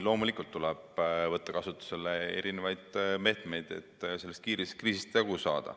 Loomulikult tuleb võtta kasutusele erisuguseid meetmeid, et sellest kriisist jagu saada.